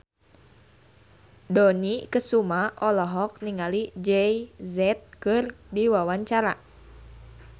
Dony Kesuma olohok ningali Jay Z keur diwawancara